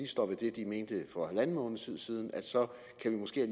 står ved det de mente for halvanden måneds tid siden at vi måske